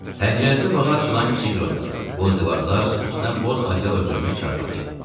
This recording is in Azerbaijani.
Pəncərəsi bağa açılan kiçik bir otaq, boz divarlar, üstünə boz adyal örtülmüş çarpayı.